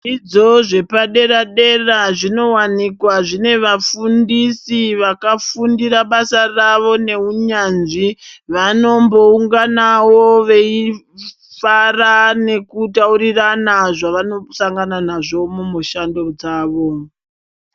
Zvidzidzo zvepadera dera zvinowanikwa zvine vafundisi vakafundira basa ravo neunyanzvi ,vanombounganawo veifara nekutaurirana zvavanosangana nazvo mumishando dzavo.